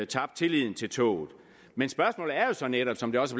tabt tilliden til toget men spørgsmålet er så netop som det også